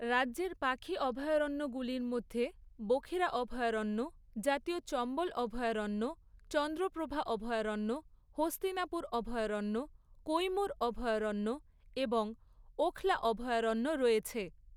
রাজ্যের পাখি অভয়ারণ্যগুলির মধ্যে বখিরা অভয়ারণ্য, জাতীয় চম্বল অভয়ারণ্য, চন্দ্রপ্রভা অভয়ারণ্য, হস্তিনাপুর অভয়ারণ্য, কৈমুর অভয়ারণ্য এবং ওখলা অভয়ারণ্য রয়েছে।